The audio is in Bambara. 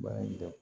Baara in dabɔ